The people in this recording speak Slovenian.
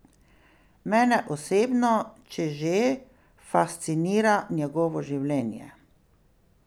Mene osebno, če že, fascinira njegovo življenje.